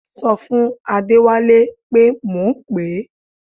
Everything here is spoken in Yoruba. Ṣọ fún Adẹ́wálé pé mò ń pè é